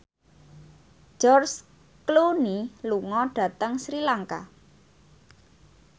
George Clooney lunga dhateng Sri Lanka